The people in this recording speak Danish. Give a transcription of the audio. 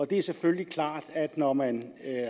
det er selvfølgelig klart at når man